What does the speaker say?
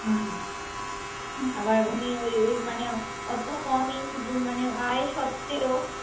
আবার ওনি ওই ওই মানে অত কম ইন আয় স্বত্তেও